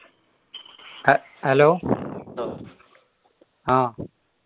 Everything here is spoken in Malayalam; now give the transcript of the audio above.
അഹ് hello ആഹ്